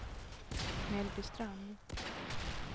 Mellbystrand